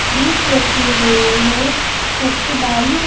ईट रखे हुए हैं छत पे बालू है।